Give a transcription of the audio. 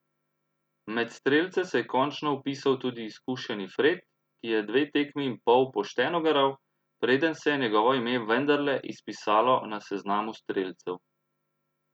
Med strelce se je končno vpisal tudi izkušeni Fred, ki je dve tekmi in pol pošteno garal, preden se je njegovo ime vendarle izpisalo na seznamu strelcev.